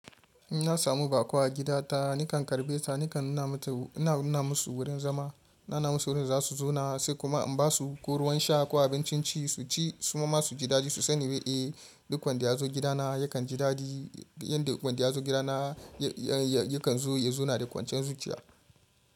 In na samu baƙo a gida ta, nakan karbe ta, nakan nuna masa wurin zama, nana masa wurin za su zauna sai kuma in ba su ko ruwan sha ko abincin ci su ci, su ma su ji dadi su sani wai eh duk wanda ya zo gidana yakan ji dadi, inda wanda ya zo gidana yakan zo ya zauna da kwanciyan zuciya.